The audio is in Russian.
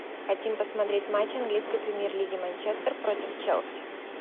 хотим посмотреть матч английской премьер лиги манчестер против челси